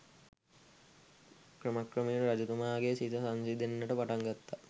ක්‍රමක්‍රමයෙන් රජතුමාගේ සිත සංසිඳෙන්නට පටන් ගත්තා.